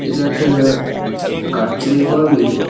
এটা একটা অ্যা কাঠ চেরাই করার মিল .